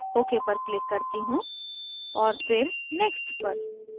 ok पर click करती हूँ और फिर next पर